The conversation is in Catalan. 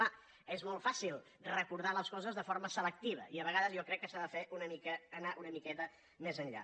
clar és molt fàcil recordar les coses de forma selectiva i a vegades jo crec que s’ha d’anar una miqueta més enllà